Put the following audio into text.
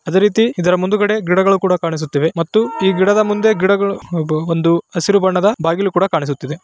ಅದೇ ರೀತಿ ಇದರ ಮುಂದುಗಡೆ ಗಿಡಗಳು ಸಹಾ ಕಾಣಿಸ್ತಾ ಇದೆ ಮತ್ತು ಈ ಗಿಡದ ಮುಂದೆ ಗಿಡಗಳು ಒಂದು ಹಸಿರು ಬಣ್ಣದ ಬಾಗಿಲು ಕೂಡ ಕಾಣಿಸ್ತಾ ಇದೆ.